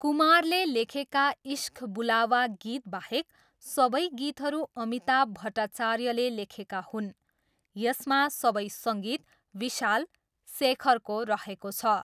कुमारले लेखेका इश्क बुलावा गीतबाहेक सबै गीतहरू अमिताभ भट्टाचार्यले लेखेका हुन्, यसमा सबै सङ्गीत विशाल, शेखरको रहेको छ।